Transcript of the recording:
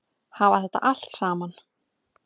Hafa þetta allt saman?